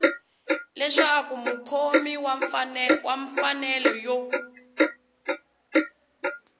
leswaku mukhomi wa mfanelo yo